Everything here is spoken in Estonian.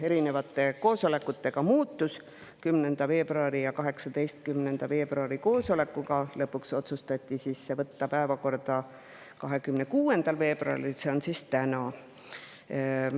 10. veebruari otsustati 18. veebruari koosolekul lõpuks võtta see päevakorda 26. veebruaril, see on täna.